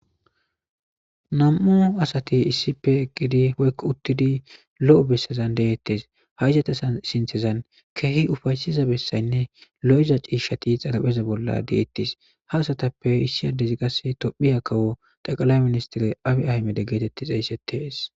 nam'u asati issippe eqqidi woyokk uttidi lo'o bessezan deettes ha izet sinithazn sinthezan kehi ufaysiza bessaynne lo'iza ciishshati xalapheza bolla deettis ha asatappe issi addezi qasse tophiya kawo xaqalay ministire abi ahmede geetetti xeyssetees